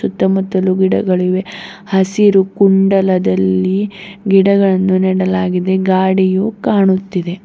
ಸುತ್ತಮುತ್ತಲು ಗಿಡಗಳಿವೆ ಹಸಿರು ಕುಂಡಲದಲ್ಲಿ ಗಿಡಗಳನ್ನು ನೆಡಲಾಗಿದೆ ಗಾಡಿಯು ಕಾಣುತ್ತಿದೆ.